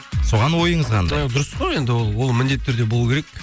соған ойыңыз қандай дұрыс қой енді ол ол міндетті түрде болу керек